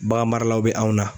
baganmaralaw bɛ anw na